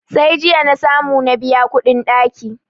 Sai jiya na samu na biya kuɗin ɗaki.